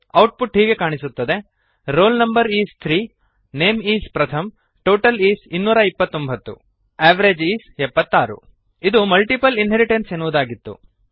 output ಹೀಗೆ ಕಾಣಿಸುತ್ತದೆ roll no is 3 name is Pratham total is 229 average is 76 ಇದು multiple inheritance ಎನ್ನುವುದಾಗಿತ್ತು